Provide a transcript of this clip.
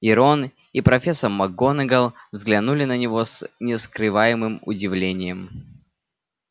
и рон и профессор макгонагалл взглянули на него с нескрываемым удивлением